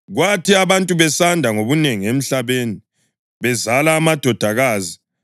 Kwathi abantu sebesanda ngobunengi emhlabeni, bezala amadodakazi,